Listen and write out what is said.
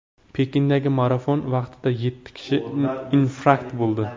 Pekindagi marafon vaqtida yetti kishi infarkt bo‘ldi.